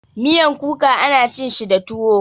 Miyan kuka ana cin shi da tuwo.